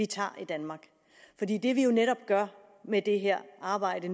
tager i danmark det vi jo netop gør med det her arbejde